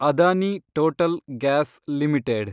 Adani Total Gas limited